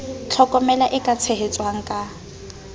tlhokomela e ka tshehetswang ka